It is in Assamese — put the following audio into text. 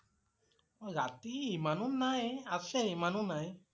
অ' ৰাতি ইমানো নাই, আছে, ইমানো নাই।